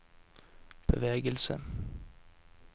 bevegelse